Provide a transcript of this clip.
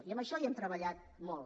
i en això hi hem treballat molt